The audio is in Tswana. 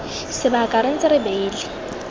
sebaka re ntse re beile